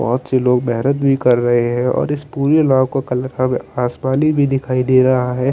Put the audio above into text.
बोहत से लोग बेहरत भी कर रहे है और इस माह को कलर क आसमानी भी दिखाई दे रहा है ।